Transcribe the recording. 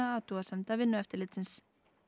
athugasemda Vinnueftirlitsins